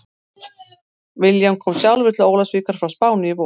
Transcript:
William kom sjálfur til Ólafsvíkur frá Spáni í vor.